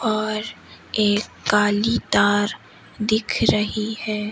और एक काली तार दिख रही है।